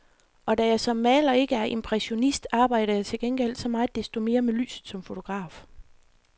Og da jeg som maler ikke er impressionist, arbejder jeg til gengæld så meget desto mere med lyset som fotograf.